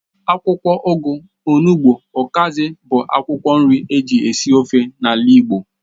Akwụkwọ ugu, onụgbu, ukazi bụ akwụkwọ nri eji esi ofe n'ala igbo.